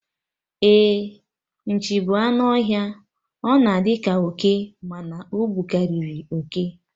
Ee, Nchi bụ anụ ọhịa, ọ na-adi ka oke, mana ọ bukariri oke